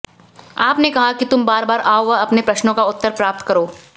आप ने कहा कि तुम बार बार आओ व अपने प्रश्नों का उत्तर प्राप्त करो